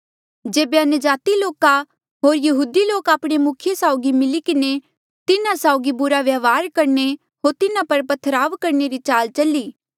जेबे अन्यजाति लोका होर यहूदी लोक आपणे मुखिये साउगी मिली किन्हें तिन्हा साउगी बुरा व्यवहार करणे होर तिन्हा पर पत्थरवाह करणे री चाल चली